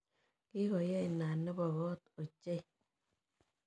Kikoye inat nebo kot ochei.